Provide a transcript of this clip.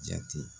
Jate